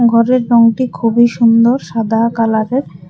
ঘরের রংটি খুবই সুন্দর সাদা কালারের।